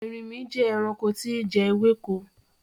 Ẹrìnmí jẹ́ ẹ̀ràṇkò tìì ǹ jẹ̀ èwèkò.